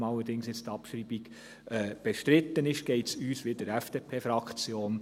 Nachdem allerdings jetzt die Abschreibung bestritten ist, geht es uns wie der FDP-Fraktion: